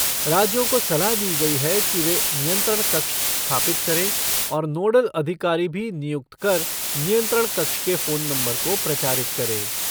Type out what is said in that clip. राज्यों को सलाह दी गई है कि वे नियंत्रण कक्ष स्थापित करें और नोडल अधिकारी भी नियुक्त कर नियंत्रण कक्ष के फ़ोन नंबर को प्रचारित करें।